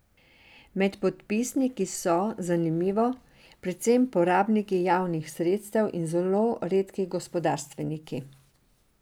Med podpisniki so, zanimivo, predvsem porabniki javnih sredstev in zelo redki gospodarstveniki.